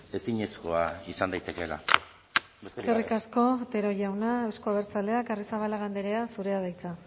ezinezkoa izan daitekeela eskerrik asko otero jauna euzko abertzaleak arrizabalaga andrea zurea da hitza